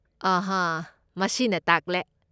ꯑꯥꯍ, ꯃꯁꯤꯅ ꯇꯥꯛꯂꯦ꯫